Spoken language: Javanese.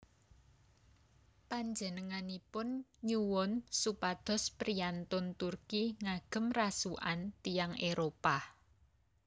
Panjenenganipun nyuwun supados priyantun Turki ngagem rasukan tiyang Éropah